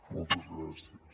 moltes gràcies